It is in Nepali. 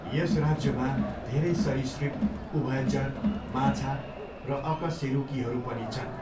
यस राज्यमा धेरै सरीसृप, उभयचर, माछा र अकसेरुकीहरू पनि छन्।